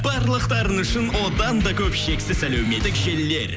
барлықтарыңыз үшін одан да көп шексіз әлеуметтік желілер